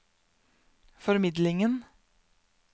formidlingen